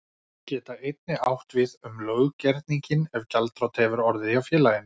geta einnig átt við um löggerninginn ef gjaldþrot hefur orðið hjá félaginu.